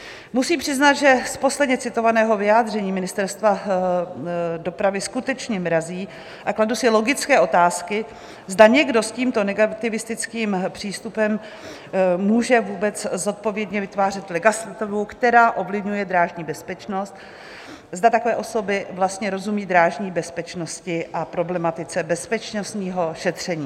Musím přiznat, že z posledně citovaného vyjádření Ministerstva dopravy skutečně mrazí, a kladu si logické otázky, zda někdo s tímto negativistickým přístupem může vůbec zodpovědně vytvářet legislativu, která ovlivňuje drážní bezpečnost, zda takové osoby vlastně rozumí drážní bezpečnosti a problematice bezpečnostního šetření.